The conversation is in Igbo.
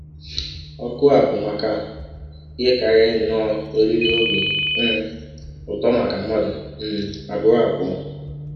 Ọ̀kụ a bụ maka ihe karịrị nnọọ oriri ọbi um ụtọ maka mmadụ um abụọ abụọ.